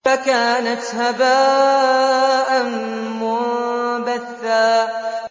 فَكَانَتْ هَبَاءً مُّنبَثًّا